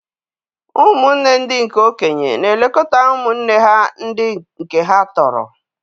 Ụmụnne ndị nke okenye na-elekọta ụmụnne ha ndị nke ha tọrọ.